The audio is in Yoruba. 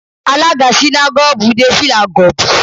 Alága sínágọ́gù dé fìlà gọ̀bì